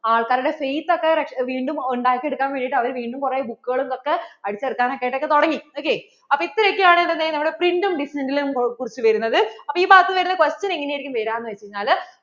ആൾക്കാരുടെ face ഒക്കെ വീണ്ടും ഉണ്ടാക്കി എടുക്കാൻ വേണ്ടിട്ട് അവർ വീണ്ടും കുറെ book കളും ഇതൊക്കെ അടിച്ചു ഇറക്കാനായിട്ട് ഒക്കെ തുടങ്ങി ok അപ്പോൾ ഇത്ര ഒക്കെ ആയിരിക്കും print ഉം നെ ക്കുറിച്ചും വരുന്നത് അപ്പോൾ ഈ ബാക്കി വരുന്ന question എങ്ങനെ ആയിരിക്കും വര്യാ ന്ന് വെച്ചാൽ